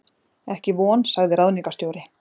Ekki von sagði ráðningarstjóri.